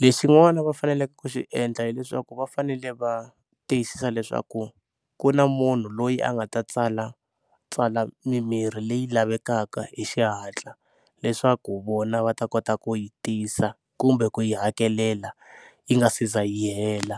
Lexin'wana va faneleke ku xi endla hileswaku va fanele va tiyisisa leswaku ku na munhu loyi a nga ta tsalatsala mimirhi leyi lavekaka hi xihatla leswaku vona va ta kota ku yi tisa kumbe ku yi hakelela yi nga si za yi hela.